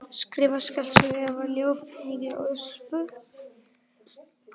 Skrifa skáldsögu eða ljóð, mikil ósköp.